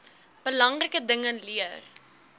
belangrike dinge leer